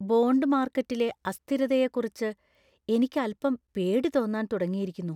Bond മാർക്കറ്റിലെ അസ്ഥിരതയെക്കുറിച്ച് എനിക്ക് അൽപ്പംപേടി തോന്നാൻ തുടങ്ങിയിരിക്കുന്നു.